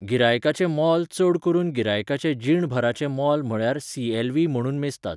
गिरायकाचें मोल चड करून गिरायकाचें जीणभराचें मोल म्हळ्यार सी.एल.व्ही. म्हणून मेजतात.